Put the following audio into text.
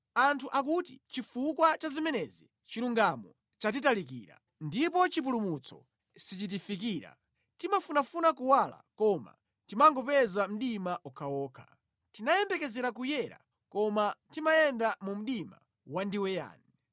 Anthu akuti, “Chifukwa cha zimenezi chilungamo chatitalikira; ndipo chipulumutso sichitifikira. Timafunafuna kuwala koma timangopeza mdima okhaokha; tinayembekezera kuyera koma timayenda mu mdima wandiweyani.